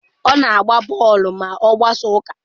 Ọ na-agba bọọlụ ma ọ gbasaa ụka.